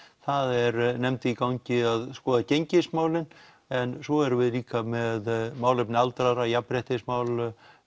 það er nefnd í gangi að skoða gengismálin en svo erum við líka með málefni aldraðra jafnréttismál